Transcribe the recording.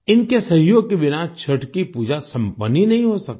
इनके सहयोग के बिना छठ की पूजा संपन्न ही नहीं हो सकती